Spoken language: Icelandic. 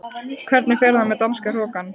Hvernig fer það með danska hrokann?